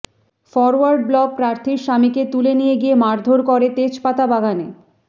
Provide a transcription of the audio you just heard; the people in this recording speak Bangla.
ফরওয়ার্ড ব্লক প্রার্থীর স্বামীকে তুলে নিয়ে গিয়ে মারধোর করে তেজপাতা বাগানে